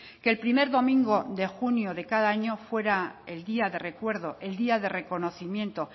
que el primer domingo de junio de cada año fuera el día de recuerdo el día de reconocimiento